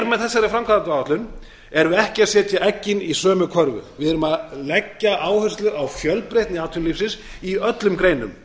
með þessari framkvæmdaáætlun erum við ekki að setja eggin í sömu körfu við erum að leggja áherslu á fjölbreytni atvinnulífsins í öllum greinum